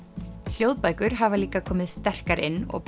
hljóðbækur koma hafa líka komið sterkar inn og